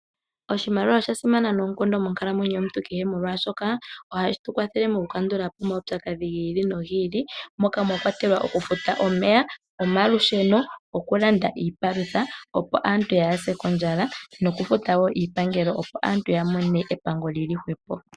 Oshimaliwa osha simana noonkondo monkalamwenyo yomuntu kehe, molwaashoka ohashi tu kwathele moku kandula po omaupyakadhi gi ili nogi ili, moka mwa kwatelwa oku futa omeya, omalusheno, oku landa iipalutha opo aaantu yaase kondjala, no kufuta woo iipangelo, opo aantu ya mone epango lili hwepo.